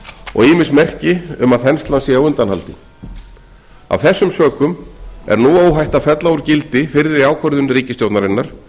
og ýmis merki um að þenslan sé á undanhaldi af þessum sökum er nú óhætt að fella úr gildi fyrri ákvörðun ríkisstjórnarinnar